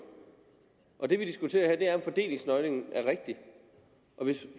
og det vi diskuterer om fordelingsnøglen er rigtig